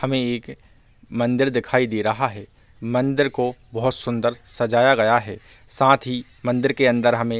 हमें एक मंदिर दिखाई दे रहा है मंदिर को बहुत सुंदर सजाया गया है साथ ही मंदिर के अंदर हमें --